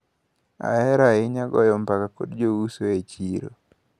Ahero ahinya goyo mbaka kod jouso e chiro.